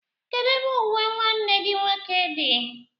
Kedu ebe uwe nwanne gi nwoke gị di?